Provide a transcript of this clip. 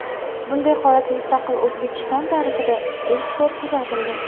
Bunday holat mustaqil O‘zbekiston tarixida ilk bor kuzatildi.